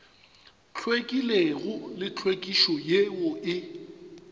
hlwekilego le tlhwekišo yeo e